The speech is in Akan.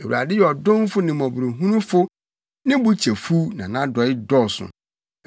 Awurade yɛ ɔdomfo ne mmɔborɔhunufo; ne bo kyɛ fuw na nʼadɔe dɔɔso.